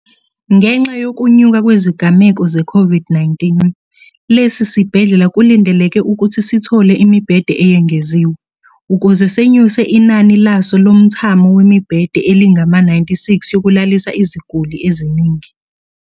Ngenxa yokunyuka kwezigameko ze-COVID-19, lesi sibhedlela kulindeleke ukuthi sithole imibhede eyengeziwe, ukuze senyuse inani laso lomthamo wemibhede elingama-96 yokulalisa iziguli eziningi.